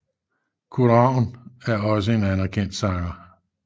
Kurt Ravn er også en anerkendt sanger